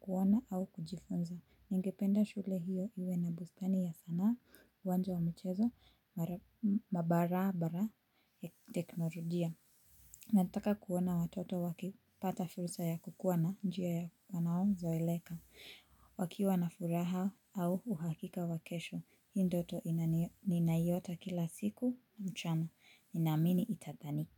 kuona au kujifunza. Ningependa shule hiyo iwe na bustani ya sana, uwanja wa michezo, mabarabara ya teknolojia. Nataka kuona watoto wakipata fursa ya kukuwa na njia ya wanaozoeleka. Wakiwa na furaha au uhakika wa kesho, hii ndoto ninayota kila siku mchana ninamini itadhanika.